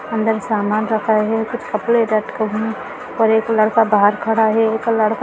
अंदर समान रखा है कपड़े लटके हुये और एक लड़का बाहर खड़ा है एक लड़का --